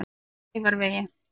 Kleifarvegi